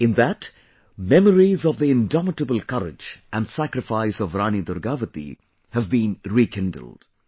In that, memories of the indomitable courage and sacrifice of Rani Durgavati have been rekindled